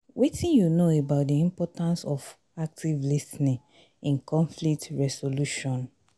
wetin you know about di importance of active lis ten ing in conflict resolution?